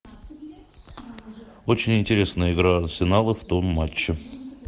очень интересная игра арсенала в том матче